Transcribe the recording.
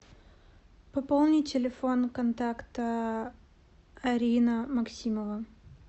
пополни телефон контакта арина максимова